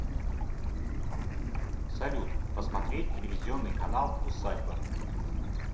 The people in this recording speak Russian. салют посмотреть телевизионный канал усадьба